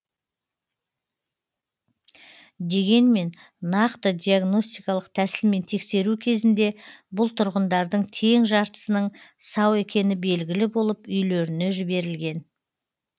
дегенмен нақты диагностикалық тәсілмен тексеру кезінде бұл тұрғындардың тең жартысының сау екені белгілі болып үйлеріне жібірілген